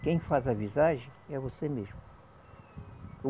Quem faz a visagem é você mesmo.